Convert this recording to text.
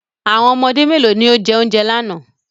How many children ate the food yesterday